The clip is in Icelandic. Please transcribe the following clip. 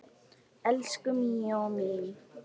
Elsku Míó minn